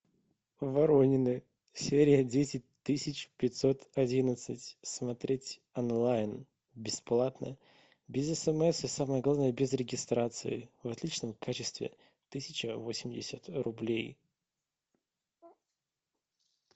воронины серия десять тысяч пятьсот одиннадцать смотреть онлайн бесплатно без смс и самое главное без регистрации в отличном качестве тысяча восемьдесят рублей